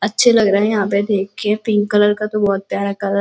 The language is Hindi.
अच्छे लग रहे है यहाँ पे देख के पिंक कलर का बहुत प्यारा कलर --